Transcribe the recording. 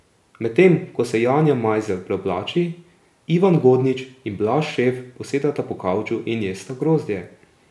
Medtem ko se Janja Majzelj preoblači, Ivan Godnič in Blaž Šef posedata po kavču in jesta grozdje.